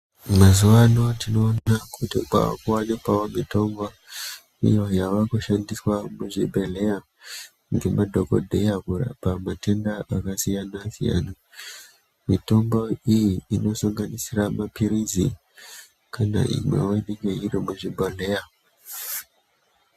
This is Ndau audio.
Mazuvaano tinoona kuti kwaakuwanikawo mitombo iyo yawakushandiswa muzvibhedhleya nemadhokodheya kurapa matenda akasiyana siyana . Mitombo iyi inosanganisira mapirizi kana imwewo inenge iri muzvibhodhleya .